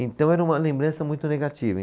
Então, era uma lembrança muito negativa.